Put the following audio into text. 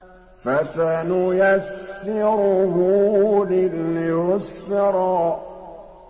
فَسَنُيَسِّرُهُ لِلْيُسْرَىٰ